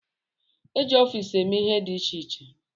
E ji ọfiisi eme ihe dị iche iche.